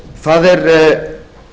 það er